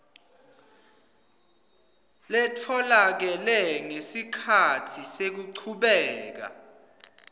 letfolakele ngesikhatsi sekuchubeka